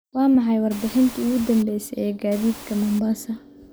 waa maxay warbixintii ugu danbaysay ee gaadiidka mombasa